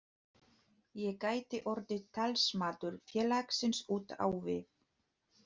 Ég gæti orðið talsmaður félagsins út á við.